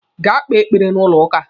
Gaa kpee ekpere n'ụlọ ụka!